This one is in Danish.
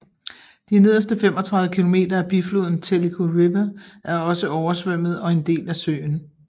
De nederste 35 km af bifloden Tellico River er også oversvømmet og en del af søen